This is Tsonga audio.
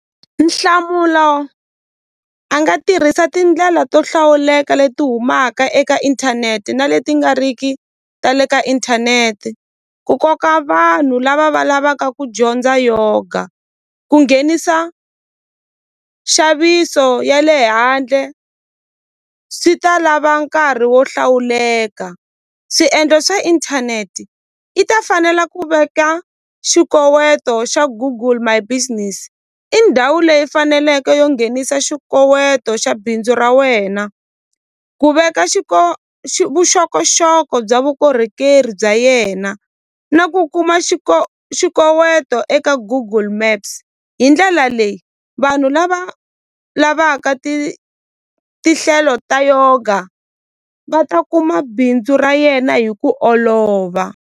Nhlamulo a nga tirhisa tindlela to hlawuleka leti humaka eka inthanete na leti nga ri ki ta le ka inthanete ku koka vanhu lava va lavaka ku dyondza yoga ku nghenisa nxaviso ya le handle swi ta lava nkarhi wo hlawuleka swiendlo swa inthaneti yi ta fanela ku veka xikoweto xa Google My Business i ndhawu leyi faneleke yo nghenisa xikoweto xa bindzu ra wena ku u veka vuxokoxoko bya vukorhokeri bya yena na ku kuma xikoweto eka Google Maps hi ndlela leyi vanhu lava lavaka ti tinhlelo ta yoga va ta kuma bindzu ra yena hi ku olova.